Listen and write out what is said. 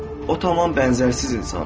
O tam bənzərsiz insandır.